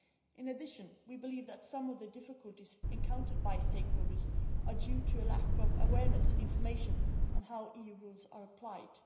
In addition, we believe that some of the difficulties encountered by stakeholders are due to a lack of awareness and information about how EU rules are applied.